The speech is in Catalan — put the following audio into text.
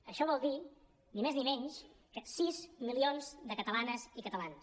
això vol dir ni més ni menys que sis milions de catalanes i catalans